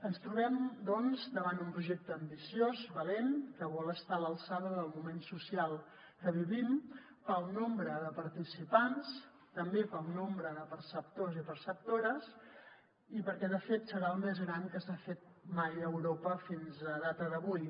ens trobem doncs davant un projecte ambiciós valent que vol estar a l’alçada del moment social que vivim pel nombre de participants també pel nombre de perceptors i perceptores i perquè de fet serà el més gran que s’ha fet mai a europa fins a data d’avui